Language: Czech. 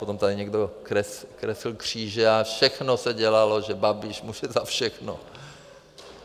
Potom tady někdo kreslil kříže a všechno se dělalo, že Babiš může za všechno.